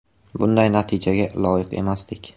Bunday natijaga loyiq emasdik.